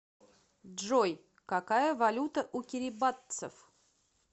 джой какая валюта у кирибатцев